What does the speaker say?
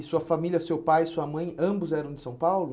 E sua família, seu pai, sua mãe, ambos eram de São Paulo?